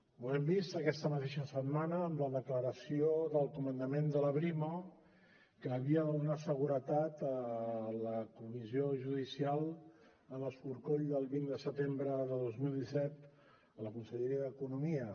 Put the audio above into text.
ho hem vist aquesta mateixa setmana amb la declaració del comandament de la brimo que havia de donar seguretat a la comissió judicial en l’escorcoll del vint de setembre de dos mil disset a la conselleria d’economia